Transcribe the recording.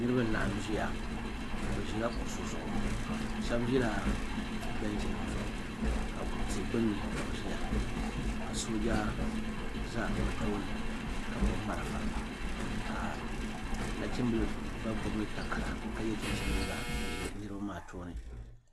Niribi laɣim ʒiya bɛ ʒiya kuɣusi zuɣu shɛb ʒiya bɛnchi nim zuɣu tii gbunni kabi ʒiya ka sooja za bɛ tooni ka gbubi marafa ka nachimbili gba gbubi takara ka yɛ chinchini liiga nzɛ niribi maa tooni.